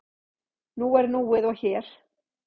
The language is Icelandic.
Nú er núið og hér.